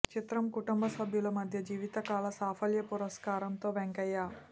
చిత్రం కుటుంబ సభ్యుల మధ్య జీవితకాల సాఫల్య పురస్కారంతో వెంకయ్య